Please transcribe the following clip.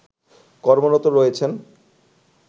কমর্রত রয়েছেন